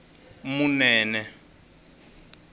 munene